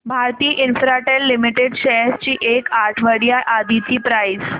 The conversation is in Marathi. भारती इन्फ्राटेल लिमिटेड शेअर्स ची एक आठवड्या आधीची प्राइस